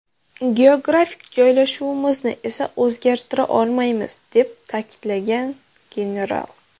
Geografik joylashuvimizni esa o‘zgartira olmaymiz”, deb ta’kidlagan general.